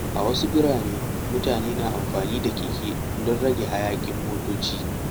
A wasu birane, mutane na amfani da keke don rage hayaƙin motoci.